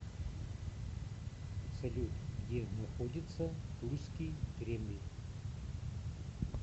салют где находится тульский кремль